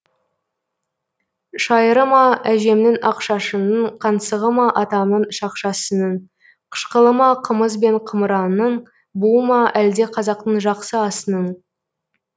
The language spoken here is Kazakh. шайыры ма әжемнің ақ шашының қаңсығы ма атамның шақшасының қышқылы ма қымыз бен қымыранның буы ма әлде қазақтың жақсы асының